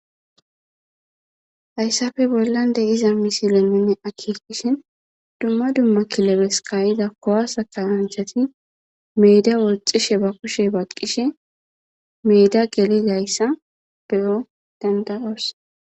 Hayssafe bollan dey iza misileminne akiqishin dumma dumma kilebes kayida kowasa kawanchati meeda wolxishe ba kushe baqqishe meeda geli layssa beyo danda'oos.